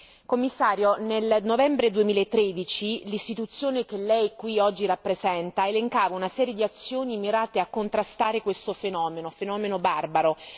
Signora Commissario, nel novembre 2013 l'Istituzione che lei qui oggi rappresenta elencava una serie di azioni mirate a contrastare questo fenomeno, fenomeno barbaro.